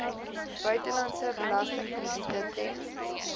buitelandse belastingkrediete ten